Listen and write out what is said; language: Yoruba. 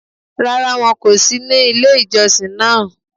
Rárá, wọn kò sí ní ilé ìjọsìn náà